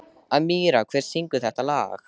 Amíra, hver syngur þetta lag?